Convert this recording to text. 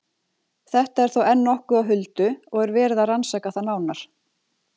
Þetta er þó enn nokkuð á huldu og er verið að rannsaka það nánar.